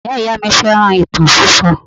Ìyá-ìyá mi fẹ́ràn ìtàn sísọ